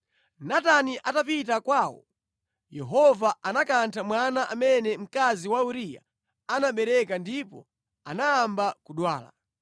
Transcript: Natani atapita kwawo, Yehova anakantha mwana amene mkazi wa Uriya anabereka ndipo anayamba kudwala.